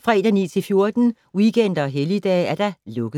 fredag 9.00-14.00, weekender og helligdage: lukket.